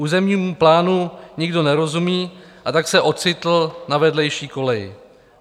Územnímu plánu nikdo nerozumí, a tak se ocitl na vedlejší koleji.